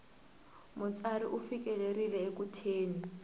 mutsari u fikelerile eku thyeni